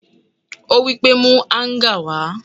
Ó wípé: Mú Áńgà wá!